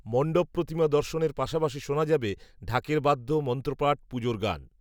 মণ্ডপপ্রতিমা দর্শনের পাশাপাশি শোনা যাবে, ঢাকের বাদ্য, মন্ত্রপাঠ, পুজোর গান